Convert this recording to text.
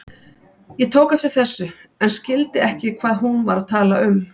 Ég tók eftir þessu en skildi ekki hvað hún var að tala um.